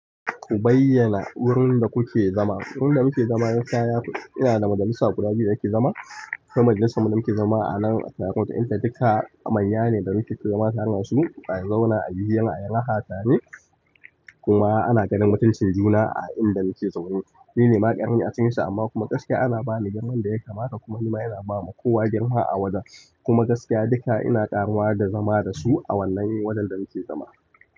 Ku bayyana wurin da kuke zama. Wurin da muke zama gaskiya yana da majalissa guda biyu da ake zama. Kuma majalisar mu da muke zama a nan a taru, inda duka manya ne da muke zama tare da su. A zauna ayi hira ayi raha tare. Kuma ana ganin mutuncin juna a inda nake zaune, ni ne ma ƙarami acikin su amma kuma gaskiya ana bani girman da ya kamata kuma ni ma ina bama kowa girma a wajan kuma gaskiya duka ina ƙaruwa da su a wannan wajen da nake zama.